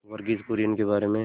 वर्गीज कुरियन के बारे में